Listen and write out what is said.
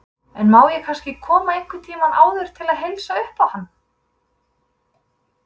En má ég kannski koma einhvern tíma áður til að heilsa uppá hann.